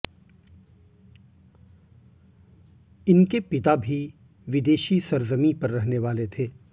इनके पिता भी विदेशी सरजमी पर रहने वाले थे